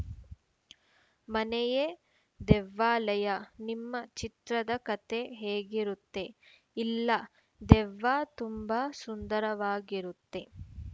ಮನೆಯೇ ದೆವ್ವಾಲಯ ನಿಮ್ಮ ಚಿತ್ರದ ಕತೆ ಹೇಗಿರುತ್ತೆ ಇಲ್ಲ ದೆವ್ವ ತುಂಬಾ ಸುಂದರವಾಗಿರುತ್ತೆ